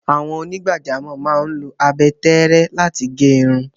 Àwọn onígbàjámọ̀ máa ń lo abẹ tẹ́ẹ́rẹ́ láti gẹ irun.